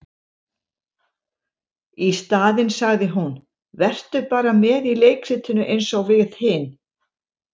Í staðinn sagði hún:- Vertu bara með í leikritinu eins og við hin.